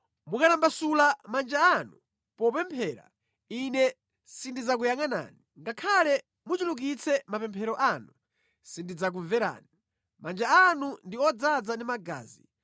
Mukamatambasula manja anu popemphera, Ine sindidzakuyangʼanani; ngakhale muchulukitse mapemphero anu, sindidzakumverani. Manja anu ndi odzaza ndi magazi;